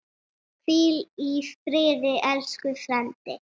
Hvíl í friði, elsku frændi.